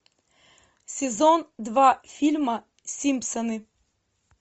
сезон два фильма симпсоны